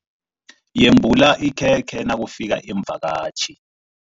Yembula ikhekhe nakufika iimvakatjhi.